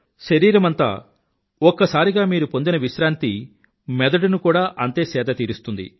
శరీరమంతా ఒక్కసారిగా మీరు పొందిన విశ్రాంతి మెదడుని కూడా అంతే సేద తీరుస్తుంది